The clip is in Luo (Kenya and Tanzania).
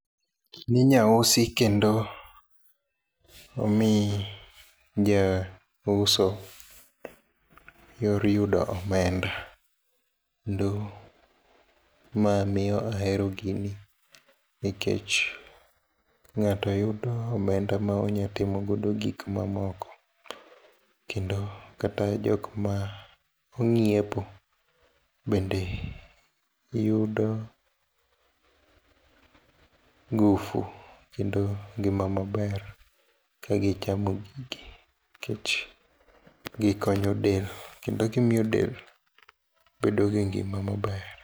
gini inyausi kendo omii jauso yor yudo omenda kendo ma miyo ahero gini nikech ngato yudo omenda monyatimo go gikmoko kendo kata jokma onyiepo bende yudo ngufu kendo ngima maber ka gichamo gigi nikech gikonyo del kendo gimiyo del bedo gi ngima maber